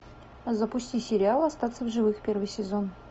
запусти сериал остаться в живых первый сезон